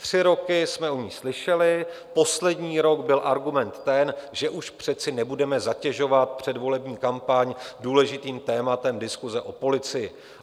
Tři roky jsme o ní slyšeli, poslední rok byl argument ten, že už přece nebudeme zatěžovat předvolební kampaň důležitým tématem diskuse o policii.